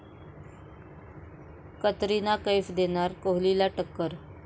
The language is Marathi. कतरिना कैफ देणार कोहलीला टक्कर!